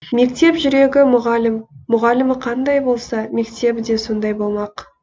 мектеп жүрегі мұғалім мұғалімі қандай болса мектебі де сондай болмақ